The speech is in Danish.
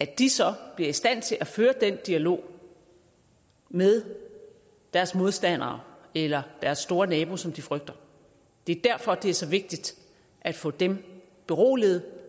at de så bliver i stand til at føre den dialog med deres modstandere eller deres store nabo som de frygter det er derfor det er så vigtigt at få dem beroliget